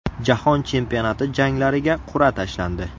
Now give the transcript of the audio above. Jahon chempionati janglariga qur’a tashlandi.